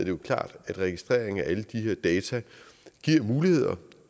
jo klart at registreringen af alle de her data giver muligheder